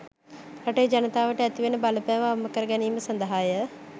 රටේ ජනතාවට ඇතිවන බලපෑම අවම කරගැනීම සඳහාය